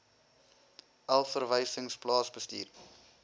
elf verwysings plaasbestuur